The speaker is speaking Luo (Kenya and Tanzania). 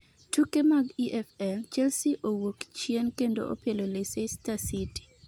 tuke mag EFL: Chelsea owuok chien kendo opielo Leceister City